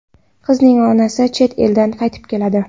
Qizning onasi chet eldan qaytib keladi.